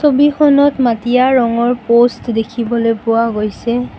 ছবিখনত মাটিয়া ৰঙৰ প'ষ্ট দেখিবলৈ পোৱা গৈছে।